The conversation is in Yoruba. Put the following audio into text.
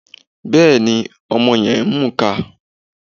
Bẹ́ẹ̀ni, ọmọ yẹn ń mùka